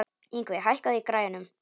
Yngvi, hækkaðu í græjunum.